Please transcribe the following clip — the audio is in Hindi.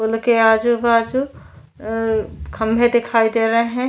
पुल के आजू बाजू खंभे दिखाई दे रहे हैं।